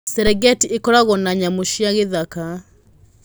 Serengeti ĩkoragwo na nyamũ cia gĩthaka.